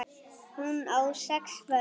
Hún á sex börn.